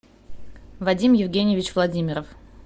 вадим евгеньевич владимиров